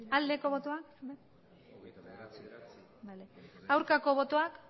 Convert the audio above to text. aldeko botoak aurkako botoak